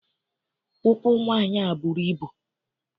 Ụkwụ nwaanyị a bụrụ ibu.